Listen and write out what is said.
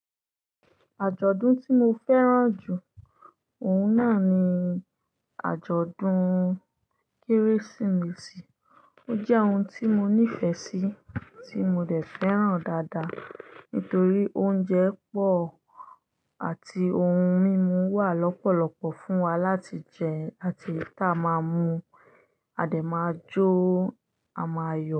Àjọ̀dún tí mo fẹ́ràn jù, òun náà ni àjọ̀dún Kérésìmesì. Ó jẹ́ ohun tí mo nífẹ̀ẹ́ sí, tí mo dẹ̀ fẹ́ràn dáadáa, nítorí oúnjẹ pọ̀ àti ohun mímu wà lọ́pọ̀lọ́pọ̀ fún wa láti jẹ àti tá máa mú, a dẹ̀ máa jó, a máa yọ̀